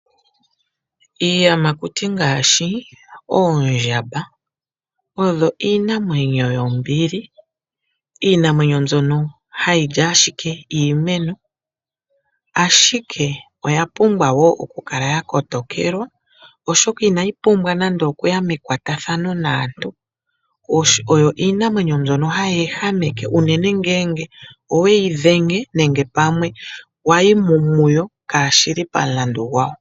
Iiyamakuti ngaashi oondjamba oyo iinamwenyo iinambili oshoka ohayi li ashike iimeno. Ihe oya pumbwa oku kaa yakotokelwa oshoka inayi pumbwa okuya mekwatathano naantu oyo iinamwenyo mbyono hayi ehameke uuna wayi muyo kashili pamukandu gwawo.